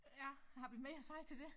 Ja har vi mere at sige til det